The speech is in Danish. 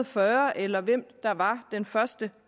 fyrre eller hvem der var den første